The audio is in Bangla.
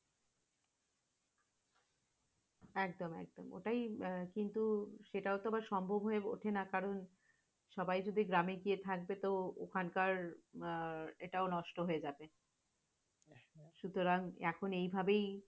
একদম একদম, ওটাই কিন্তু সেটাও বা সম্ভব হয়ে ঊথে না কারণ, সবাই যদি গ্রামে গিয়ে থাকবে তো ওখান কার আহ এটাও নষ্ট হয়ে যাবে। সুতারং এখন এইভাবেই